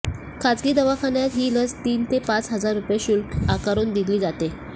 खासगी दवाखान्यात ही लस तीन ते पाच हजार रुपये शुल्क आकारून दिली जाते